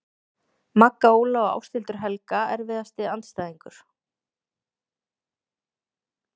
Magga Óla og Ásthildur Helga Erfiðasti andstæðingur?